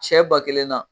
Sɛ ba kelen na